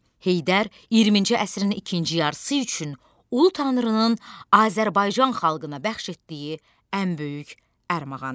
Heydər 20-ci əsrin ikinci yarısı üçün ulu tanrının Azərbaycan xalqına bəxş etdiyi ən böyük ərmağan idi.